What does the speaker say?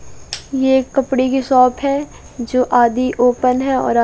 ये एक कपड़े की शॉप है जो आदि ओपन है और आ--